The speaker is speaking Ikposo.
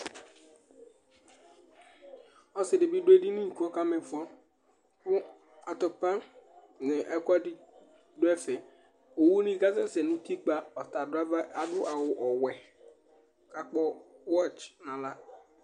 Ɔsɩ ɖɩ bɩ ɖʋ eɖini ,ƙʋ ɔƙa ma ɩfɔ nʋ atʋpa, nʋ ɛƙʋɛɖɩ nʋ ɛfɛOwu ni ƙa sɛsɛ nʋ utiƙpǝ, aɖʋ awʋ wɛ